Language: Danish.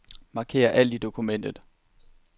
Marker alt i dokumentet.